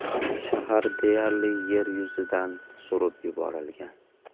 Shahar deyarli yer yuzidan surib yuborilgan.